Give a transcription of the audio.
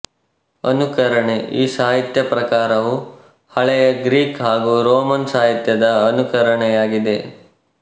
ಅನುಕರಣೆಈ ಸಾಹಿತ್ಯ ಪ್ರಕಾರವು ಹಳೆಯ ಗ್ರೀಕ್ ಹಾಗೂ ರೋಮನ್ ಸಾಹಿತ್ಯ ದ ಅನುಕರಣೆಯಾಗಿದೆ